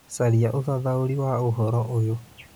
Caria ũthathaũri wa ũhoro ũyũ